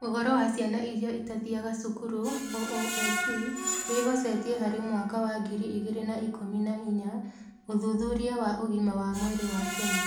Ũhoro wa ciana iria itathiaga cukuru (OOSC) wĩhocetie harĩ mwaka wa ngiri igĩrĩ na ikũmi na inya Ũthuthuria wa Ũgima wa Mwĩrĩ wa Kenya.